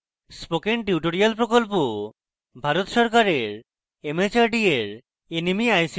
spoken tutorial project Bharat সরকারের mhrd এর nmeict দ্বারা সমর্থিত